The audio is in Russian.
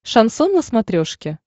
шансон на смотрешке